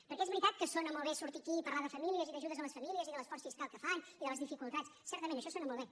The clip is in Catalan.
perquè és veritat que sona molt bé sortir aquí i parlar de famílies i d’ajudes a les famílies i de l’esforç fiscal que fan i de les dificultats certament això sona molt bé